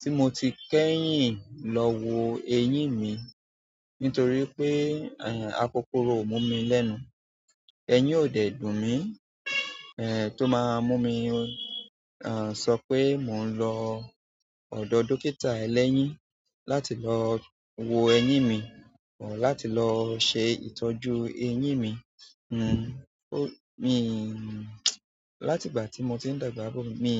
ti mo ti kẹ́yìn lo wo eyin mi nítorí pe akokoro o mu mi lẹ́nu. Eyìn ò dẹ̀ dùn mí. Ẹ́, tó máa mú mi, ẹ́, sọ pé mò ń lọ ọ̀dọ̀ dókítà ẹlẹ́yìn láti lọ wo eyín mi àti lọ ṣe ìtọ́jú eyín mi. Hmm, mi, láti ìgbà tí mo ti ń dàgbà, mi